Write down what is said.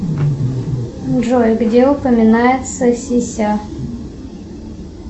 джой где упоминается сися